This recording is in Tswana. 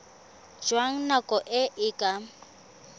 jwa nako e e ka